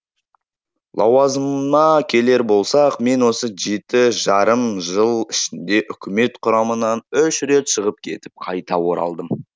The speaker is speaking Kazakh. лауазымыма келер болсақ мен осы жеті жарым жыл ішінде үкімет құрамынан үш рет шығып кетіп қайта оралдым